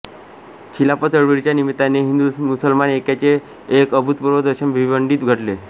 खिलापत चळवळीच्या निमित्ताने हिंदूमुसलमान ऐक्याचे एक अभूतपूर्व दर्शन भिवंडीत घडले